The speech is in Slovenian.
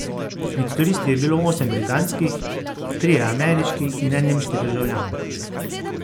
Med turisti je bilo osem britanskih, trije ameriški in en nemški državljan.